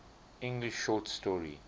english short story